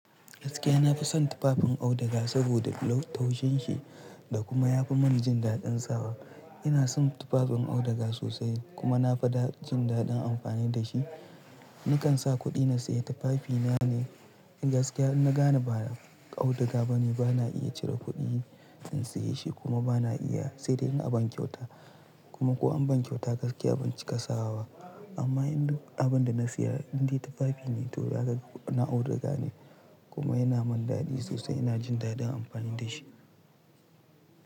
Gaskiya na fi son tufafin auduga saboda lau taushin shi da kuma ya fi mani jin daɗin sawa. Ina son tufafin auduga sosai kuma na fi jin daɗin amfani da shi. Nakan sa kuɗi na saye tufafi na ne. Gaskiya in na gane ba auduga bane, bana iya cire kuɗi in saye shi kuma bana iya. Sai dai in an ban kyauta kuma ko an ban kyauta gaskiya ban cika sawa ba. Amma inda abin da na saya indai tufafi ne toh haka na auduga ne kuma yana mani daɗi sosai. Ina jin daɗin amfani da shi.